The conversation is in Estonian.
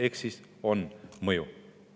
Ehk siis on mõju.